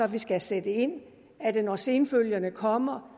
vi skal sætte ind er det når senfølgerne kommer